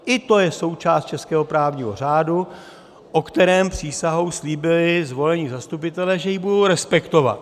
I to je součást českého právního řádu, o kterém přísahou slíbili zvolení zastupitelé, že ji budou respektovat.